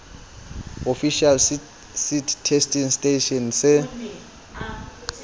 official seed testing station se